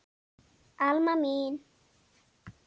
Alma mín.